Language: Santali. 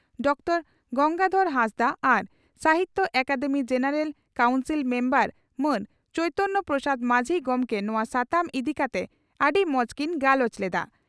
ᱰᱚᱠᱴᱚᱨᱹ ᱜᱚᱝᱜᱟᱫᱷᱚᱨ ᱦᱟᱸᱥᱫᱟ ᱟᱨ Sahitya Akademi general council member ᱢᱟᱱ ᱪᱚᱭᱛᱚᱱᱭᱚ ᱯᱨᱚᱥᱟᱫᱽ ᱢᱟᱹᱡᱷᱤ ᱜᱚᱢᱠᱮ ᱱᱚᱣᱟ ᱥᱟᱛᱟᱢ ᱤᱫᱤ ᱠᱟᱛᱮ ᱟᱹᱰᱤ ᱢᱚᱡᱽ ᱠᱤᱱ ᱜᱟᱞᱚᱪ ᱞᱮᱫᱟ ᱾